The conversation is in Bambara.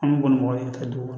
An bɛ boli mɔgɔ ye ka taa dugu